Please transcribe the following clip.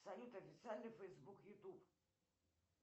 салют официальный фейсбук ютуб